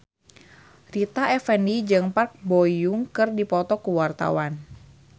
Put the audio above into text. Rita Effendy jeung Park Bo Yung keur dipoto ku wartawan